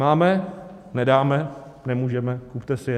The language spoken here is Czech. Máme, nedáme, nemůžeme, kupte si je.